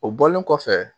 O bɔlen kɔfɛ